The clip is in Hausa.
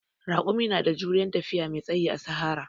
Raƙumi na da juriyan tafiya mai tsayi a sahara